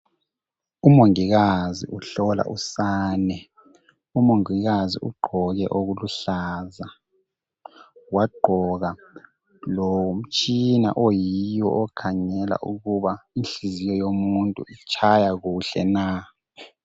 umongikazi uhlola usane umongikazi ugqoke okuluhlaza wagqoka lomtshina oyiwo okukhangela ukuba inhliziyo yomuntu itshaya kuhle na